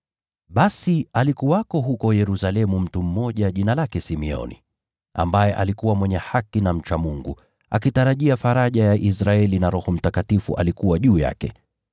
Basi alikuwako huko Yerusalemu mtu mmoja jina lake Simeoni, ambaye alikuwa mwenye haki na mcha Mungu, akitarajia faraja ya Israeli, na Roho Mtakatifu alikuwa juu yake.